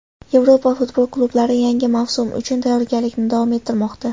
Yevropa futbol klublari yangi mavsum uchun tayyorgarlikni davom ettirmoqda.